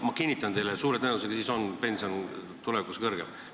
Ma kinnitan teile, et suure tõenäosusega on siis pension tulevikus suurem.